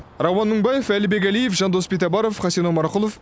рауан мыңбаев әлібек әлиев жандос битабаров хасен омарқұлов